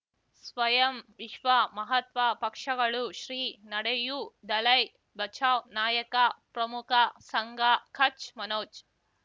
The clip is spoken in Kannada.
ಸ್ವಯಂ ವಿಶ್ವ ಮಹಾತ್ಮ ಪಕ್ಷಗಳು ಶ್ರೀ ನಡೆಯೂ ದಲೈ ಬಚೌ ನಾಯಕ ಪ್ರಮುಖ ಸಂಘ ಕಚ್ ಮನೋಜ್